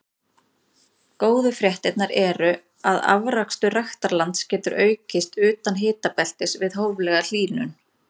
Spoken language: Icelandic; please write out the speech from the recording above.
Góðu fréttirnar eru að afrakstur ræktarlands getur aukist utan hitabeltis við hóflega hlýnun.